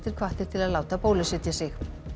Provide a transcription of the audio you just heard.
hvattir til að láta bólusetja sig